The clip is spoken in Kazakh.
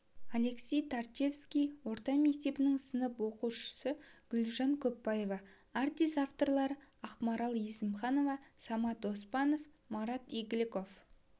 алексей тарчевский орта мектептің сынып оқушысы гүлжан көпбаева артист авторлары ақмарал есімханова самат оспанов марат игіліков